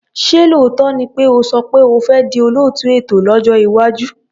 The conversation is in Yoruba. Ṣé lóòótọ́ ni pé o sọ pé o fi di olóòtú ètò lójọ́ iwájú?